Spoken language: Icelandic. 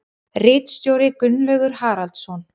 Ritstjóri Gunnlaugur Haraldsson.